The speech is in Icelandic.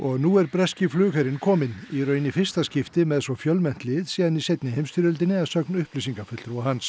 nú er breski flugherinn kominn í raun í fyrsta skipti með svo fjölmennt lið síðan í seinni heimsstyrjöldinni að sögn upplýsingafulltrúa hans